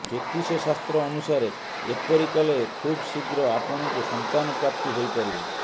ଜ୍ୟୋତିଷ ଶାସ୍ତ୍ର ଅନୁସାରେ ଏପରି କଲେ ଖୁବ୍ ଶୀଘ୍ର ଆପଣଙ୍କୁ ସନ୍ତାନ ପ୍ରାପ୍ତି ହୋଇପାରିବ